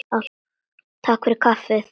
Takk fyrir kaffið.